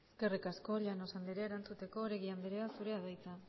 eskerrik asko llanos andrea erantzuteko oregi andrea zurea da hitza